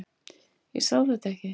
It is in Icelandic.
Ég sá þetta ekki.